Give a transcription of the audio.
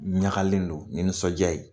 N ɲagalen don ni nisɔndiya ye !